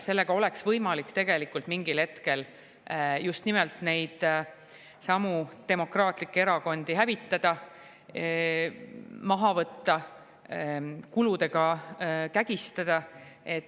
Sellega oleks võimalik tegelikult mingil hetkel just nimelt demokraatlikke erakondi hävitada, maha võtta, kuludega kägistada.